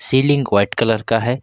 Ceiling white colour का है।